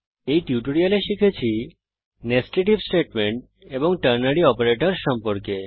এই টিউটোরিয়ালে আমরা শিখেছি Nested If স্টেটমেন্ট এবং টার্নারি অপারেটরসহ সম্পর্কে